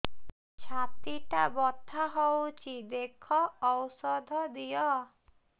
ଛାତି ଟା ବଥା ହଉଚି ଦେଖ ଔଷଧ ଦିଅ